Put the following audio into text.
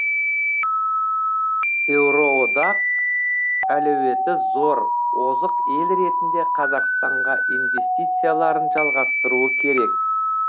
еуроодақ әлеуеті зор озық ел ретінде қазақстанға инвестицияларын жалғастыруы керек